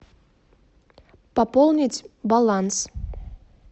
пополнить баланс